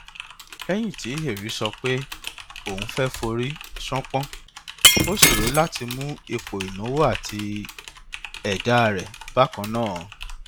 lẹyìn tí hèrì sọ pé òun fẹ forí ṣánpọ ó ṣòro láti mú ipò ìnáwó àti ẹdá rẹ bákan náà